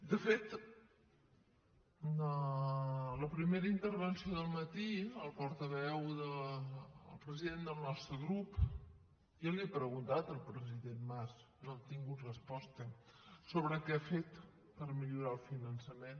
de fet a la primera intervenció del matí el president del nostre grup ja li ha preguntat al president mas no hem tingut resposta sobre què ha fet per millorar el finançament